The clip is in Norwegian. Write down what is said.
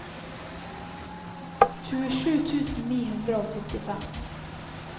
tjuesju tusen ni hundre og syttifem